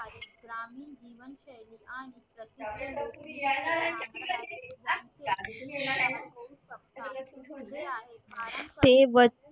ते वत